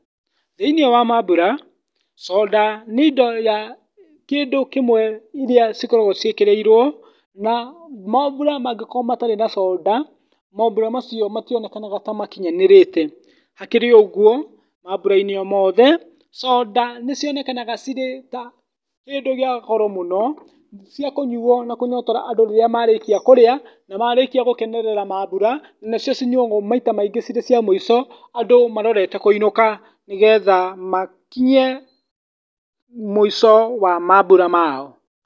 Thĩiniĩ wa mambura, soda, nĩ indo ya, kĩndũ kĩmwe iria cikoragwo ciĩkĩrĩirwo, na mambura mangĩkorwo matarĩ na soda, mambura macio mationekanaga ta makinyanĩrĩte. Hakĩrĩ ũguo, mambura-inĩ o mothe, soda nĩ cionekanaga cirĩ ta kĩndũ kia goro mũno cia kũnyuwo na kũnyoyora andũ rĩrĩamarĩkia kũrĩa, na marĩkia gũkenerera mambura, nĩcio cinyuwagwo aita maingĩ cirĩ cia mũico, andũ marorete kũinũka nĩgetha makinye mũico wa mambura mao.